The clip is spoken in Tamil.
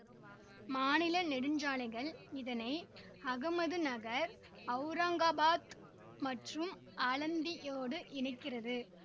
மாநில நெடுஞ்சாலைகள் இதனை அஹமதுநகர் அவுரங்காபாத் மற்றும் ஆலந்தியோடு இணைக்கிறது